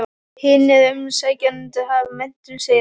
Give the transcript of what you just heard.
Hinir umsækjendurnir hafa menntun, segir hann.